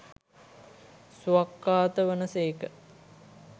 ස්වාක්ඛාත වන සේක